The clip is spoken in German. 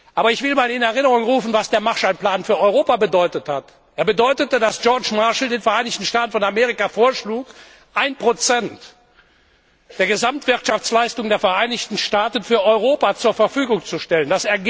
Aber ich möchte in Erinnerung rufen, was der Marshallplan für Europa bedeutet hat Er bedeutete, dass George Marshall den Vereinigten Staaten von Amerika vorschlug, ein Prozent der Gesamtwirtschaftsleistung der Vereinigten Staaten für Europa zur Verfügung zu stellen.